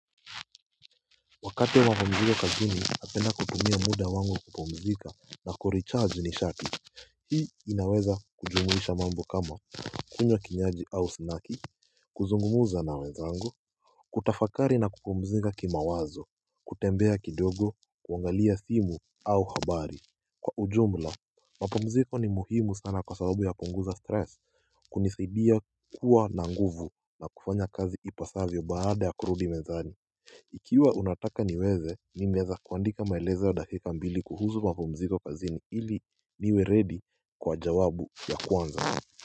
Wakati wa mapumziko kazini napenda kutumia muda wangu kupumzika na kurecharge nishati Hii inaweza kujumuisha mambo kama kunywa kinyaji au snaki kuzungumuza na wenzangu kutafakari na kupumzika kimawazo, kutembea kidogo, kuangalia simu au habari Kwa ujumla, mapumziko ni muhimu sana kwa sababu yapunguza stress, kunisaidia kuwa na nguvu na kufanya kazi ipasavyo baada ya kurudi mezani Ikiwa unataka niweze, nimeeza kuandika maelezo ya dakika mbili kuhuzu mapumziko kazini ili niwe ready kwa jawabu ya kwanza.